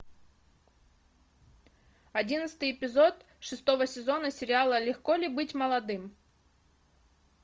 одиннадцатый эпизод шестого сезона сериала легко ли быть молодым